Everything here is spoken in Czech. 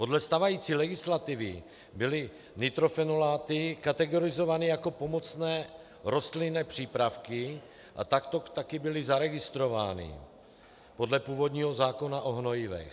Podle stávající legislativy byly nitrofenoláty kategorizovány jako pomocné rostlinné přípravky a takto také byly zaregistrovány podle původního zákona o hnojivech.